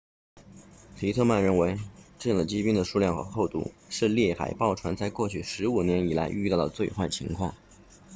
皮特曼 pittman 认为这样的积冰的数量和厚度是猎海豹船在过去15年以来遇到的最坏情况